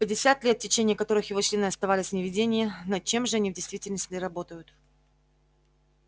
пятьдесят лет в течение которых его члены оставались в неведении над чем же они в действительности работают